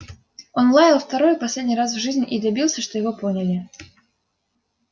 он лаял второй и последний раз в жизни и добился что его поняли